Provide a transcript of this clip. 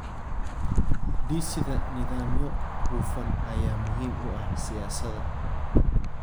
Dhisida nidaamyo hufan ayaa muhiim u ah siyaasadda.